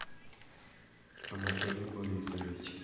анатолий борисович